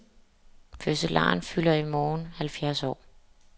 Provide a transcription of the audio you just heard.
Fødselaren fylder i morgen halvfjerds år.